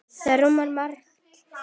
Það rúmar margt.